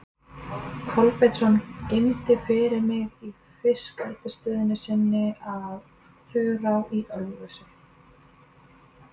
Kolbeinsson geymdi fyrir mig í fiskeldisstöð sinni að Þurá í Ölfusi.